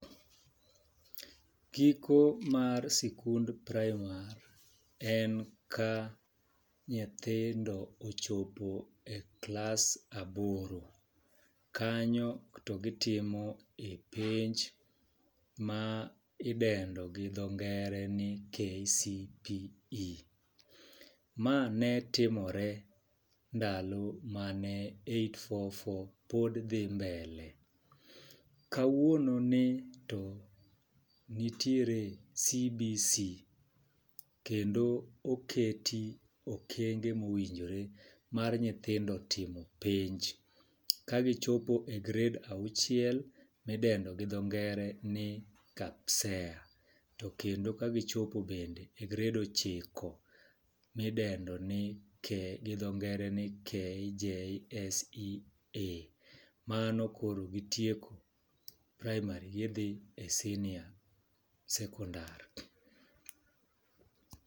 Giko mar sikund praimar en ka nyithindo ochopo e klas aboro. Kanyo to gitimo e penj ma idendo gi dho ngere ni KCPE . Ma ne timore ndalo mane eight four four pod dhi mbele . Kawuono ni to nitiere CBC kendo keti okengo mowinjore mar nyithindo timo penj ka gichopo e grade achiel midendo gi dho ngere ni KAPSEA to kendo ka gichope bende e grade ochiko midendo ni gi dho ngere ni KJSEA .Mano koro gitieko praimari kidhi e senior sekondar